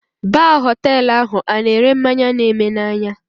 Baa Họtelụ ahụ ana ere mmanya na eme na anya?